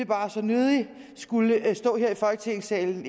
bare så nødig ville skulle stå her i folketingssalen og